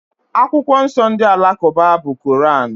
Akwụkwọ nsọ ndị Alakụba bụ Koran.